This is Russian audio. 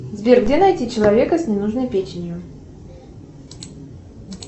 сбер где найти человека с ненужной печенью